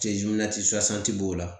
b'o la